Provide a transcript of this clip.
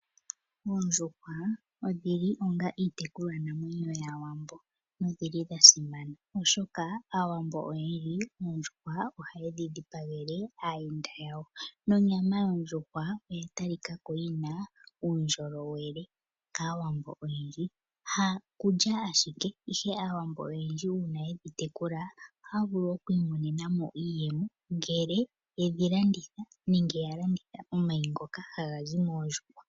Oondjuhwa odhili onga iitekulwa namwenyo yaawambo no dhili dhasima, oshoka aawambo oyendji oondjuhwa oha yedhi dhipangele aayenda yawo. Nonyama yondjuhwa oya talikako yina uundjolowele kaawambo oyendji. Ha kulya ashike, ihe aawambo oyendji ngele yatekula oondjuhwa ohaavulu okwiimonena iiyemo ngele yalanditha oondjuhwa nenge omayi ngoka hagazi moondjuhwa.